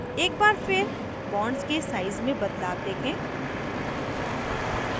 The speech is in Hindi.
एक बार फिर bonds के size में बदलाव देखें